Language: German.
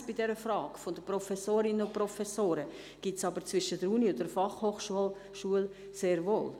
Eine Differenz bezüglich der Frage der Professorinnen und Professoren gibt es zwischen der Universität und der Fachhochschule sehr wohl.